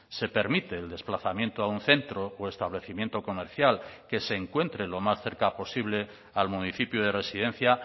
se permite el desplazamiento a un centro o establecimiento comercial que se encuentre lo más cerca posible al municipio de residencia